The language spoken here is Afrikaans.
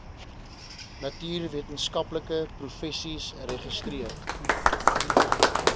natuurwetenskaplike professies registreer